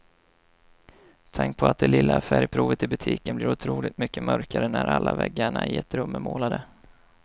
Tänk på att det lilla färgprovet i butiken blir otroligt mycket mörkare när alla väggarna i ett rum är målade.